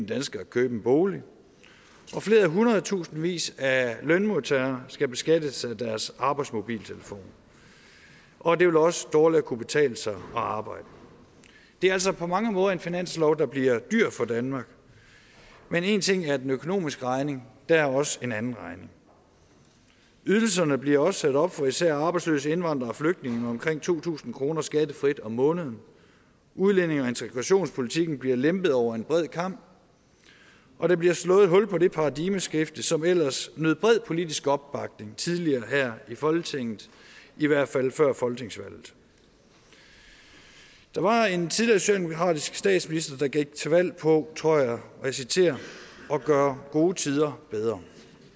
dansker at købe en bolig og flere hundredtusindvis af lønmodtagere skal beskattes af deres arbejdsmobiltelefon og det vil også dårligere kunne betale sig at arbejde det er altså på mange måder en finanslov der bliver dyr for danmark men en ting er den økonomiske regning der er også en anden regning ydelserne bliver også sat op for især arbejdsløse indvandrere og flygtninge med omkring to tusind kroner skattefrit om måneden udlændinge og integrationspolitikken bliver lempet over en bred kam og der bliver slået et hul på det paradigmeskifte som ellers nød bred politisk opbakning tidligere her i folketinget i hvert fald før folketingsvalget der var en tidligere socialdemokratisk statsminister der gik til valg på tror jeg og jeg citerer at gøre gode tider bedre